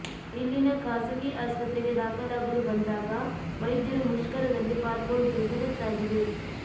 ಇಲ್ಲಿನ ಖಾಸಗಿ ಆಸ್ಪತ್ರೆಗೆ ದಾಖಲಾಗಲು ಬಂದಾಗ ವೈದ್ಯರು ಮುಷ್ಕರದಲ್ಲಿ ಪಾಲ್ಗೊಂಡಿರುವುದು ಗೊತ್ತಾಗಿದೆ